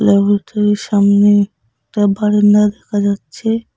ল্যাবরেটরির সামনে একটা বারান্দা দেখা যাচ্ছে।